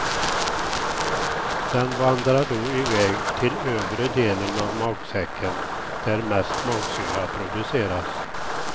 Den vandrar då iväg till övre delen av magsäcken där mest magsyra produceras.